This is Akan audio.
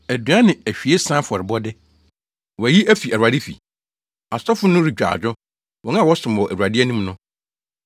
Aduan ne ahwiesa afɔrebɔde, wɔayi afi Awurade fi. Asɔfo no retwa adwo, wɔn a wɔsom wɔ Awurade anim no.